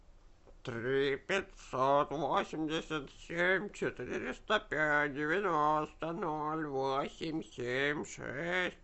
три пятьсот восемьдесят семь четыреста пять девяносто ноль восемь семь шесть